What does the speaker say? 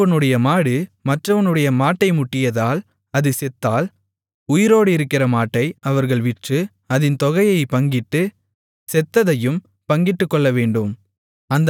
ஒருவனுடைய மாடு மற்றவனுடைய மாட்டை முட்டியதால் அது செத்தால் உயிரோடு இருக்கிற மாட்டை அவர்கள் விற்று அதின் தொகையைப் பங்கிட்டு செத்ததையும் பங்கிட்டுக்கொள்ளவேண்டும்